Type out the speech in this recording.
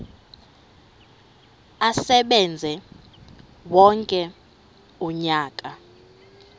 asebenze wonke umnyaka